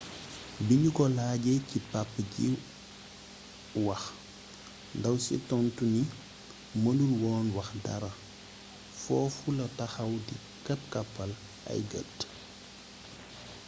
biñu ko laajee ci papa ji wax ndaw si tontu ni mënul woon wax dara foofu la taxaw di kapp-kappal ay gët